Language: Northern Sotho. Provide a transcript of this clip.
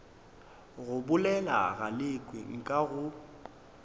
go bolela galekwe nka go